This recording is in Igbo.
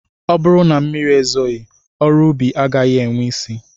Ọ bụrụ na mmiri ezoghị ọrụ ubi agaghị enwe isi